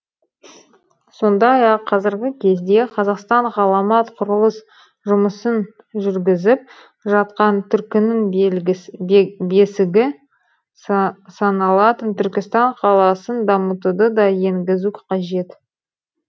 сондай ақ қазіргі кезде қазақстан ғаламат құрылыс жұмысын жүргізіп жатқан түркінің бесігі саналатын түркістан қаласын дамытуды да енгізу қажет